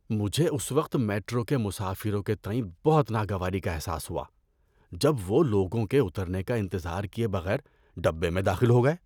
مجھے اس وقت میٹرو کے مسافروں کے تئیں بہت ناگواری کا احساس ہوا جب وہ لوگوں کے اترنے کا انتظار کیے بغیر ڈبے میں داخل ہو گئے۔